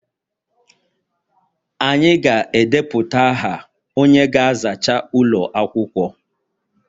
Anyị ga-edepụta aha onye ga-azacha ụlọ akwụkwọ